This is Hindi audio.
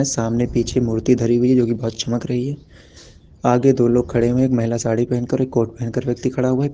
सामने पीछे मूर्ति धरी हुई है जो की बोहोत चमक रही है आगे दो लोग खड़े हुए हैं एक महिला साड़ी पहन कर और एक कोट पहनकर व्यक्ति खड़ा हुआ है।